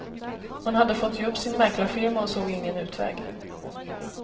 Hon hade fått ge upp sin mäklarfirma och såg ingen utväg.